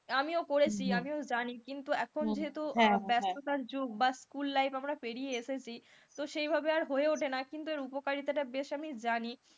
আমিও করেছি আমিও জানি কিন্তু এখন যেহেতু ব্যস্ততার যোগ বা school life আমরা পেরিয়ে এসেছি তো সেইভাবে আর হয়ে উঠে না কিন্তু এর উপকারিতা বেশ আমি জানি,